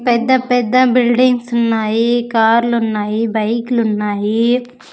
పెద్ద పెద్ద బిల్డింగ్స్ ఉన్నాయి కార్లున్నాయి బైక్ లున్నాయి.